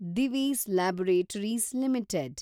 Divi's laboratories limited